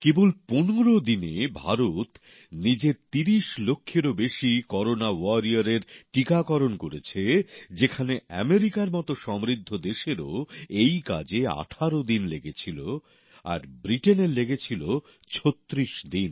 কেবল পনেরো দিনে ভারত নিজের তিরিশ লক্ষেরও বেশি করোনা যোদ্ধার টিকাকরণ করেছে যেখানে মার্কিন যুক্তরাষ্ট্রের মত সমৃদ্ধ দেশেরও এই কাজে আঠেরো দিন লেগেছিল আর ব্রিটেনের লেগেছিল ছত্রিশ দিন